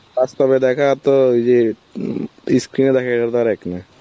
বাস্তবে দেখা তো ওই যে উম ই screen এ দেখা তো আর এক না